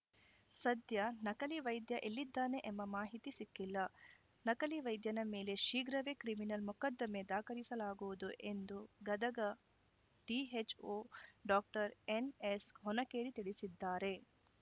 ಸದ್ಯ ನಕಲಿ ವೈದ್ಯ ಎಲ್ಲಿದ್ದಾನೆ ಎಂಬ ಮಾಹಿತಿ ಸಿಕ್ಕಿಲ್ಲ ನಕಲಿ ವೈದ್ಯನ ಮೇಲೆ ಶೀಘ್ರವೇ ಕ್ರಿಮಿನಲ್‌ ಮೊಕದ್ದಮೆ ದಾಖಲಿಸಲಾಗುವುದು ಎಂದು ಗದಗ ಡಿಎಚ್‌ಒ ಡಾಕ್ಟರ್ ಎನ್‌ಎಸ್‌ಹೊನಕೇರಿ ತಿಳಿಸಿದ್ದಾರೆ